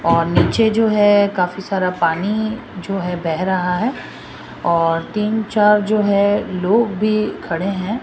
ओर नीचे जो है काफी सारा पानी जो है बह रहा है और तीन चार जो है लोग भी खडे है।